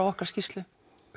okkar skýrslu